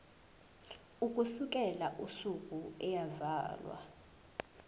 ukusukela usuku eyazalwa